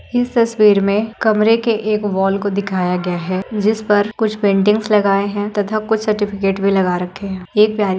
इस तस्वीर में कमरे के एक वाल को दिखाया गया है जिसपर कुछ पेंटिंग्स लगाए हैं तथा कुछ सर्टिफिकेट भी लगा रखे हैं। ये एक प्यारी --